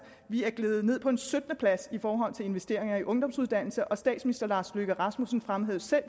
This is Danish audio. vi er gledet ned på en syttende plads i forhold til investeringer i ungdomsuddannelser og statsministeren fremhævede selv